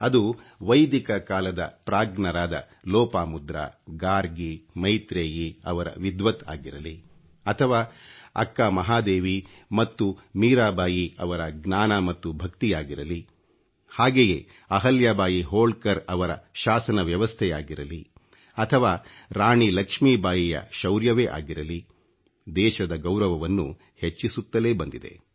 ಅದು ವೈದಿಕ ಕಾಲದ ಪ್ರಾಜ್ಞರಾದ ಲೋಪಾಮುದ್ರಾ ಗಾರ್ಗಿ ಮೈತ್ರೇಯಿ ಅವರ ವಿದ್ವತ್ ಆಗಿರಲಿ ಅಥವಾ ಅಕ್ಕ ಮಹಾದೇವಿ ಮತ್ತು ಮೀರಾಬಾಯಿ ಅವರ ಜ್ಞಾನ ಮತ್ತು ಭಕ್ತಿಯಾಗಿರಲಿ ಹಾಗೆಯೇ ಅಹಲ್ಯಾಬಾಯಿ ಹೋಳ್ಕರ್ ಅವರ ಶಾಸನ ವ್ಯವಸ್ಥೆಯಾಗಿರಲಿ ಅಥವಾ ರಾಣಿ ಲಕ್ಷ್ಮೀಬಾಯಿಯ ಶೌರ್ಯವೇ ಆಗಿರಲಿ ದೇಶದ ಗೌರವವನ್ನು ಹೆಚ್ಚಿಸುತ್ತಲೇ ಬಂದಿದೆ